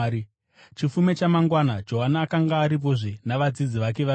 Chifume chamangwana Johani akanga aripozve navadzidzi vake vaviri.